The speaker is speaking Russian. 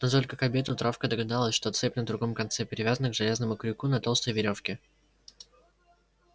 но только к обеду травка догадалась что цепь на другом конце привязана к железному крюку на толстой верёвке